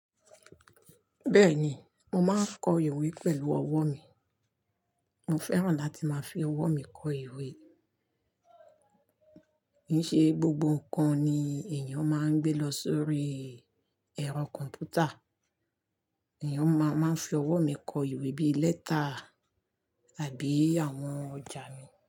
Bẹ́ẹ̀ni, mo máa ń kọ ìwé pẹ̀lú ọwọ́ mi. Mo fẹ́ràn láti máa fi ọwọ́ mi kọ ìwé. Kì í ṣe gbogbo nǹkan ni èèyàn máa ń gbé lọ sórí ẹ̀rọ kọ̀m̀pútà. Èèyàn ma máa ń fi ọwọ́ mi kọ ìwé bíi lẹ́tà àbí àwọn ọjà mi.